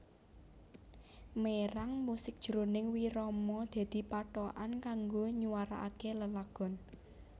Mérang musik jroning wirama dadi pathokan kanggo nywaraké lelagon